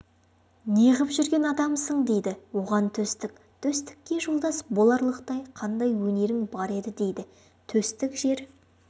неғып жүрген адамсың дейді оған төстік төстікке жолдас боларлықтай қандай өнерің бар еді дейді төстік жер